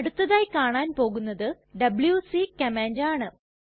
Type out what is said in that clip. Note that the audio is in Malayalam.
അടുത്തതായി കാണാൻ പോകുന്നത് ഡബ്ല്യൂസി കമാൻഡ് ആണ്